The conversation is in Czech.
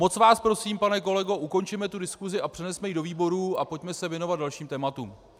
Moc vás prosím, pane kolego, ukončeme tu diskusi a přenesme ji do výborů a pojďme se věnovat dalším tématům.